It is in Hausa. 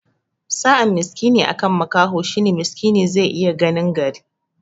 Sa'an miskini akan makaho shine miskini zai iya ganin gari